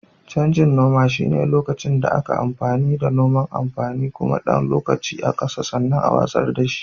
Canjin noma shine lokacin da aka yi noman amfanin gona na ɗan lokaci a ƙasa sannan a watsar da shi.